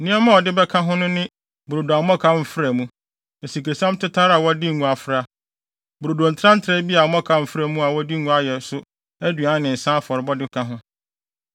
Nneɛma a ɔde bɛka ho no ne brodo a mmɔkaw mfra mu, asikresiam tetare a wɔde ngo afra; brodo ntrantraa bi a mmɔkaw mfra mu a wɔde ngo ayɛ so a aduan ne nsa afɔrebɔde ka ho.